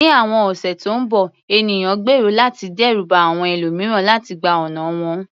Ní àwọn ọ̀sẹ̀ tó ń bọ̀, ènìyàn gbèrò láti dẹ́rù ba àwọn ẹlòmíràn láti gba ọ̀nà wọn.